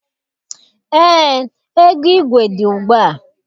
Eé, ego igwe dị ugbua.